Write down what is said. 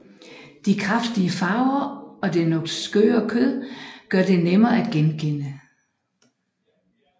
De kraftige farver og det noget skøre kød gør dem nemme at genkende